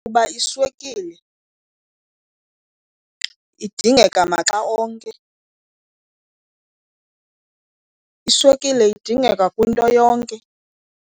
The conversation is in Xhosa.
Kuba iswekile idingeka maxa onke. Iswekile idingeka kwinto yonke.